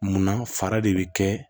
Munna fara de bɛ kɛ